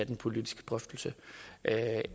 den politiske drøftelse